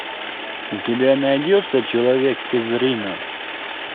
у тебя найдется человек из рино